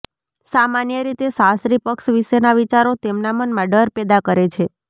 સામાન્ય રીતે સાસરી પક્ષ વિશેના વિચારો તેમના મનમાં ડર પેદા કરે છે